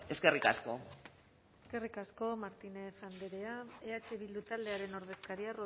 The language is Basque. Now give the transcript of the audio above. eskerrik asko eskerrik asko martínez andrea eh bildu taldearen ordezkaria